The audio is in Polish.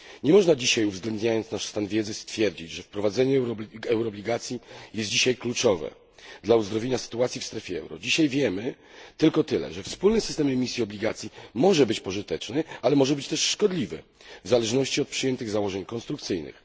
Nie można dzisiaj, uwzględniając nasz stan wiedzy, stwierdzić, że wprowadzenie euroobligacji jest dzisiaj kluczowe dla uzdrowienia sytuacji w strefie euro. Dzisiaj wiemy tylko tyle, że wspólny system emisji obligacji może być pożyteczny, ale może być też szkodliwy, w zależności od przyjętych założeń konstrukcyjnych.